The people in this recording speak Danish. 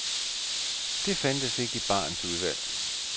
Det fandtes ikke i barens udvalg.